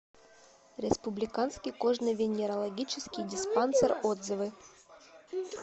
республиканский кожно венерологический диспансер отзывы